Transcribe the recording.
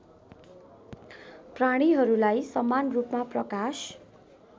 प्राणीहरूलाई समानरूपमा प्रकाश